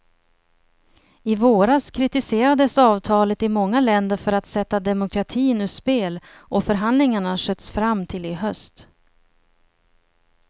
I våras kritiserades avtalet i många länder för att sätta demokratin ur spel, och förhandlingarna sköts fram till i höst.